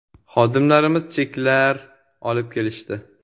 Xodimlarimiz cheklar olib kelishdi.